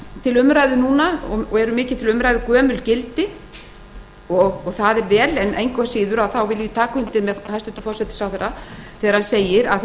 til umræðu núna gömlu gildin og það er vel ég vil engu að síður taka undir með hæstvirtum forsætisráðherra þegar hann segir að